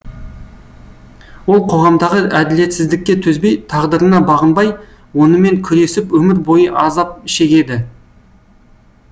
ол қоғамдағы әділетсіздікке төзбей тағдырына бағынбай онымен күресіп өмір бойы азап шегеді